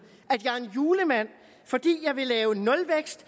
at julemand fordi jeg vil lave nulvækst